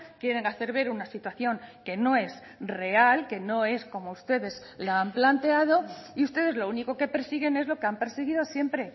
quieren hacer ver una situación que no es real que no es como ustedes la han planteado y ustedes lo único que persiguen es lo que han perseguido siempre